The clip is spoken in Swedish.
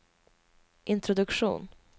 introduktion